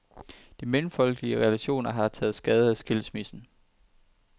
De mellemfolkelige relationer har taget skade af skilsmissen.